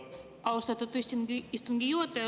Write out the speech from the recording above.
Austatud istungi juhataja!